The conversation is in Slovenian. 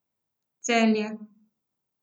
Celje.